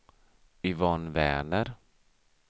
Yvonne Werner